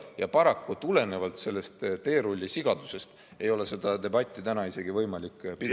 Ja paraku tulenevalt sellest teerullisigadusest ei ole seda debatti täna isegi võimalik pidada.